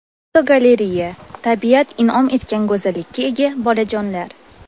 Fotogalereya: Tabiat in’om etgan go‘zallikka ega bolajonlar.